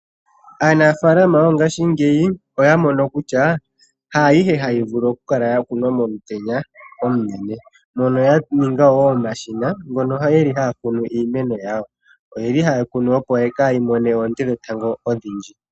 Aanafalama yongashingeyi oya mono kutya, haayihe hayi vulu okukala yakunwa momutenya omunene, mono yaninga omashina, ngono ge li haga kunu iimeno yawo. Oye li haye yi kunu, opo kaayi mone oonte dhetango odhindji.